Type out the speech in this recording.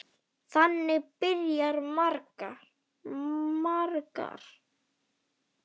Þannig byrja margar.